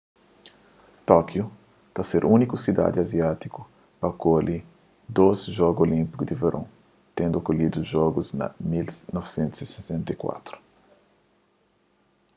tókiu ta ser úniku sidadi aziátiku pa akolhi dôs jogu olínpiku di veron tendu akolhidu jogus na 1964